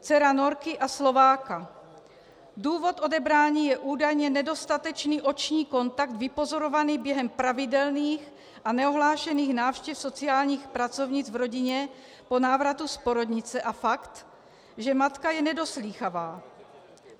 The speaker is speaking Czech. Důvod odebrání je údajně nedostatečný oční kontakt, vypozorovaný během pravidelných a neohlášených návštěv sociálních pracovnic v rodině po návratu z porodnice a fakt, že matka je nedoslýchavá.